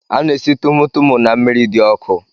A na-esi tumu tumu na mmiri di oku